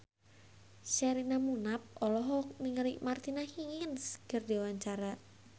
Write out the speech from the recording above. Sherina Munaf olohok ningali Martina Hingis keur diwawancara